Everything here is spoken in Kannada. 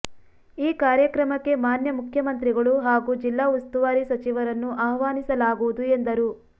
ಈ ಕಾರ್ಯಕ್ರಮಕ್ಕೆ ಮಾನ್ಯ ಮುಖ್ಯಮಂತ್ರಿಗಳು ಹಾಗೂ ಜಿಲ್ಲಾ ಉಸ್ತುವಾರಿ ಸಚಿವರನ್ನು ಆಹ್ವಾನಿಸಲಾಗುವುದು ಎಂದರು